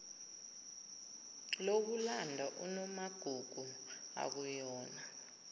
lokulanda unomagugu akuyona